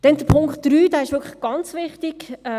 Dann Punkt 3, dieser ist wirklich ganz wichtig.